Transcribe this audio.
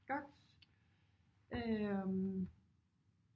Godt øh